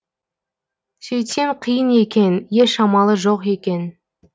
сөйтсем қиын екен еш амалы жоқ екен